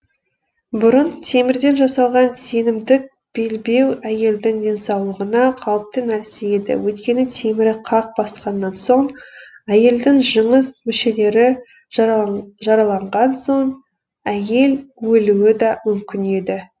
бұрын темірден жасалған сенімдік белбеуі әйелдің денсаулығына қауіпті нәрсе еді өйткені темірді қақ басқаннан соң әйелдің жыныс мүшелері жараланған соң әйел өлуі де мүмкін еді